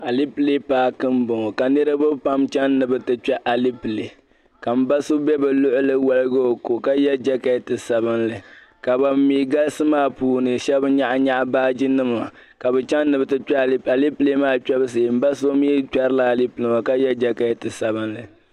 Alipɛle paki n bɔŋɔ ka niriba pam chɛni ni bɛ ti kpɛ alipɛle ka m ba so be bɛ luɣuli waligi o kɔ ka yɛ jɛketi sabinli ka ban mi galisi maa puuni shɛba nyaɣi nyaɣi baagi nima ka bɛ chɛni ni bɛ ti kpɛ alipɛli m ba so gba kpɛririla alipɛla.